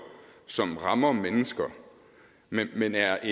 som rammer mennesker men men er